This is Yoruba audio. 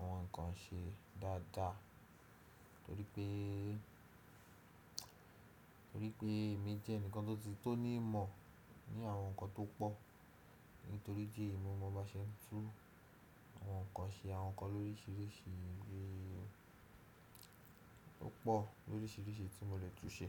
àwọn nkan ṣe dáadáa torí pé, torí pé èmi jẹ́ ẹnìkan tó ti, tó ní ìmọ̀ ní àwọn nkan tó pọ̀. Nítorí idi eyii, mo máa ba ṣe tún àwọn nkan ṣe, àwọn nkan lóríṣiríṣi, bí- ọ̀pọ̀ lóríṣiríṣi tí mo lè tún ṣe.